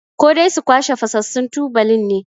Ko dai su kwashe fasassun tubalin ne?